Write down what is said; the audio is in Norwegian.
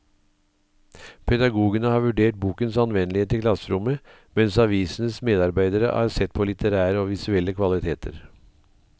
Pedagogene har vurdert bokens anvendelighet i klasserommet, mens avisens medarbeidere har sett på litterære og visuelle kvaliteter.